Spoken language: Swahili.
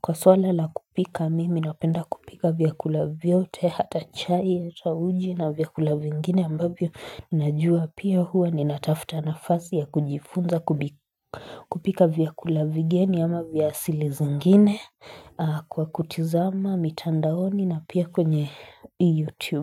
kwa swala la kupika mimi napenda kupika vyakula vyote hata chai yata uji na vyakula vingine ambavyo Najua pia huwa ni natafuta nafasi ya kujifunza kupika vyakula vigeni ama vyasili zangine kwa kutizama mitandaoni na pia kwenye youtube.